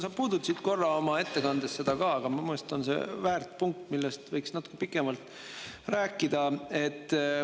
Sa puudutasid seda korra ka oma ettekandes, aga minu meelest on see väärt punkt, millest võiks natuke pikemalt rääkida.